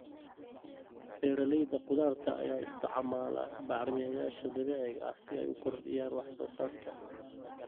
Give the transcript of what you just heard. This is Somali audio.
Beeralayda khudaarta ayaa isticmaala bacrimiyeyaasha dabiiciga ah si ay u kordhiyaan wax soo saarka.